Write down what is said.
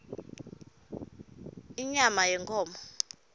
inyama yenkhomo